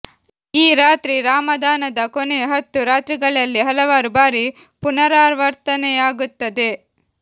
ಈ ರಾತ್ರಿ ರಾಮಾದಾನದ ಕೊನೆಯ ಹತ್ತು ರಾತ್ರಿಗಳಲ್ಲಿ ಹಲವಾರು ಬಾರಿ ಪುನರಾವರ್ತನೆಯಾಗುತ್ತದೆ